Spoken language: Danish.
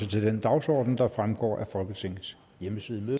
til den dagsorden der fremgår af folketingets hjemmeside